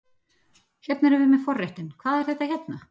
Hérna erum við með forréttinn, hvað er þetta hérna?